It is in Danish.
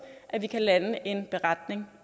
at vi kan lande en beretning